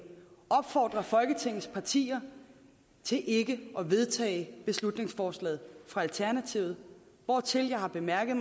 opfordrer folketingets partier til ikke at vedtage beslutningsforslaget fra alternativet hvortil jeg har bemærket